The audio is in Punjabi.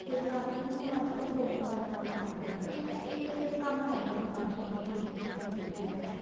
ਇਸ ਕਰਕੇ ਨਾ ਹੁਣ ਅੱਜਕਲ ਬਹੁਤ ਪੈਸਾ ਕਮਾ ਸਕਦੇ ਹਾਂ ਇਸੇ ਦੇ ਕੰਮ ਰਹਿ ਗਿਆ ਹੁਣ ਅੱਜਕਲ ਤਾਂ beauty beauty beauty ਬੱਸ